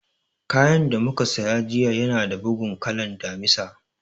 Kayan da mu ka saya jiya ya na da bugun kalan Damisa